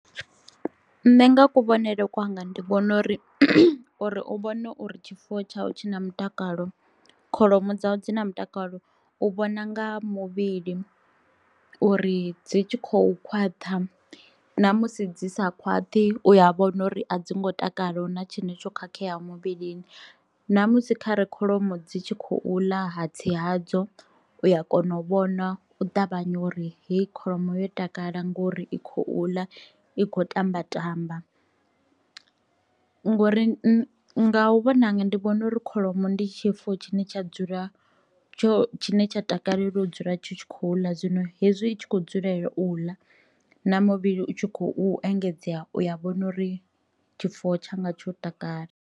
Nṋe nga kuvhonele kwanga ndi vhona uri uri u vhone uri tshifuwo tsha u tshi na mutakalo kholomo dzau dzi na mutakalo u vhona nga muvhili uri dzi tshi khou khwaṱha ṋamusi dzi sa khwaṱhi u a vhona uri a dzi ngo takala hu na tshine tsho khakheaho muvhilini. Ṋamusi khare kholomo dzi tshi khou ḽa hatsi hadzo u ya kona u vhona u ṱavhanya uri heyi kholomo yo takala ngori i khou ḽa i kho tamba tamba ngori nga u vhona hanga ndi vhona uri kholomo ndi tshifuwo tshine tsha dzula tsho tshine tsha takalela u dzula tshi khou ḽa zwino hezwi i tshi kho dzulela u ḽa na muvhili u tshi khou engedzea u ya vhona uri tshifuwo tsha nga tsho takala.